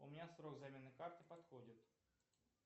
у меня срок замены карты подходит